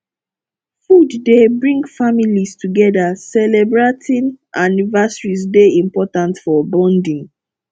food dey bring families together celebratin anniversaries dey important for bonding